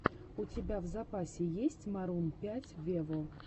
у тебя в запасе есть марун пять вево